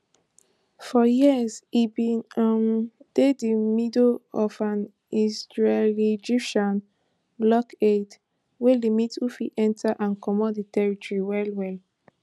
for years e bin um dey di middle of an israeliegyptian blockade wey limit who fit enta and comot di territory wellwell